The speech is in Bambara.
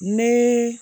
Ne